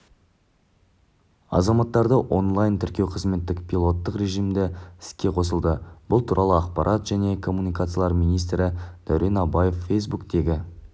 азаматтарды онлайн-тіркеу қызметі пилоттық режімде іске қосылды бұл туралы ақпарат жне коммуникациялар министрі дурен абаев фейсбуктегі